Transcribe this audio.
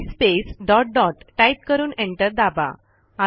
CD space dot dotटाईप करून enter दाबा